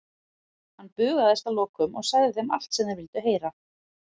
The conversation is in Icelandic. Hann bugaðist að lokum og sagði þeim allt sem þeir vildu heyra.